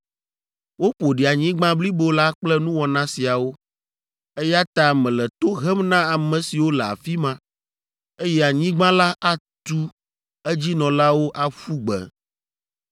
Woƒo ɖi anyigba blibo la kple nuwɔna siawo, eya ta mele to hem na ame siwo le afi ma, eye anyigba la atu edzinɔlawo aƒu gbe.